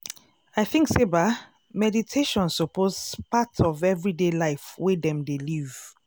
i think say ba meditation suppose part of everybody life wey dem dey live.